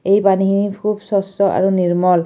এই পানীখিনিত খুব স্বচ্ছ আৰু নিৰ্মল।